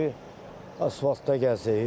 Hamısı da asfaltdan gəzir.